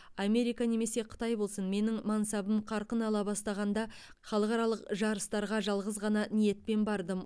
америка немесе қытай болсын менің мансабым қарқын ала бастағанда халықаралық жарыстарға жалғыз ғана ниетпен бардым